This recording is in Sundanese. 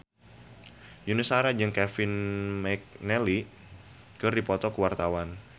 Yuni Shara jeung Kevin McNally keur dipoto ku wartawan